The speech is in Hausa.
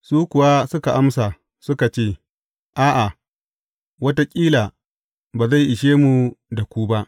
Su kuwa suka amsa, suka ce, A’a, wataƙila ba zai ishe mu da ku ba.